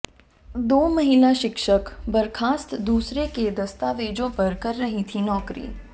दो महिला शिक्षक बर्खास्त दूसरे के दस्तावेजों पर कर रहीं थीं नौकरी